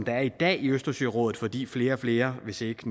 er i dag i østersørådet fordi flere og flere hvis ikke